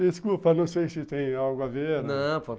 Desculpa, não sei se tem algo a ver. Não, po